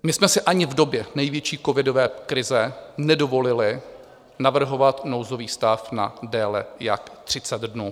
My jsme si ani v době největší covidové krize nedovolili navrhovat nouzový stav na déle jak 30 dnů.